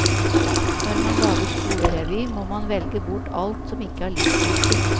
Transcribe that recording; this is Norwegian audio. Når man lager skolerevy, må man velge bort alt som ikke er livsviktig.